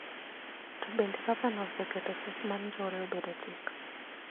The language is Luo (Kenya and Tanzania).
To bende gavana oseketo chik mar njore obedo chik